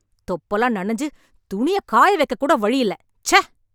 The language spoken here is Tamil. தொப்பலா நனஞ்சு, துணிய காய வெக்கக்கூட வழியில்ல... ச்ச..